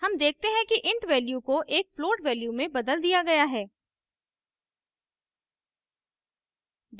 हम देखते हैं कि int value को एक float value में बदल दिया गया है